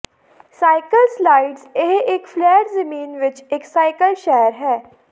cycle slides ਇਹ ਇਕ flat ਜ਼ਮੀਨ ਵਿਚ ਇਕ ਸਾਈਕਲ ਸ਼ਹਿਰ ਹੈ